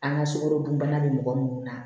An ka sukorodunbana bɛ mɔgɔ minnu na